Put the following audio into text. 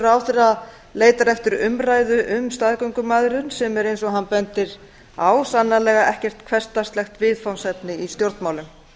ráðherra leitar eftir umræðu um staðgöngumæðrun sem er eins og hann bendir á sannarlega ekkert hversdagslegt viðfangsefni í stjórnmálum